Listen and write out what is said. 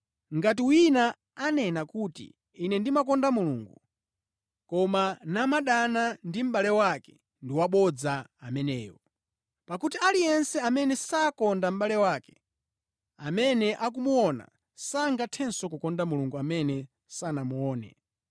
Ngati wina anena kuti, “Ine ndimakonda Mulungu,” koma namadana ndi mʼbale wake ndi wabodza ameneyo. Pakuti aliyense amene sakonda mʼbale wake, amene akumuona, sangathenso kukonda Mulungu amene sanamuone.